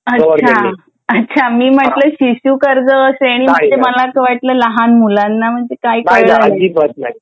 अच्छा मी म्हटलं शिशु कर्ज श्रेणी मला वाटलं लहान मुलांना कसं काय